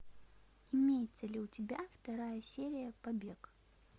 имеется ли у тебя вторая серия побег